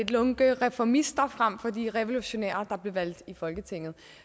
lunkne reformister frem for at være de revolutionære der blev valgt ind i folketinget